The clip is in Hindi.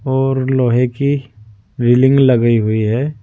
और लोहे की रेलिंग लगी हुई है।